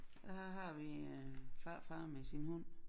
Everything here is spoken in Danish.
Og her har vi øh farfar med sin hund